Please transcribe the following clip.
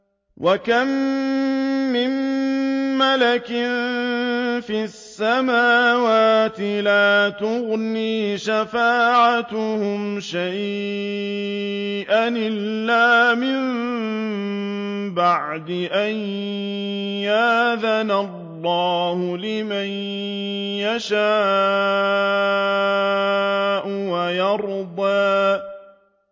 ۞ وَكَم مِّن مَّلَكٍ فِي السَّمَاوَاتِ لَا تُغْنِي شَفَاعَتُهُمْ شَيْئًا إِلَّا مِن بَعْدِ أَن يَأْذَنَ اللَّهُ لِمَن يَشَاءُ وَيَرْضَىٰ